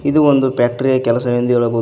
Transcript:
ಇದು ಒಂದು ಫ್ಯಾಕ್ಟರಿಯ ಕೆಲಸವೆಂದು ಹೇಳಬವುದು.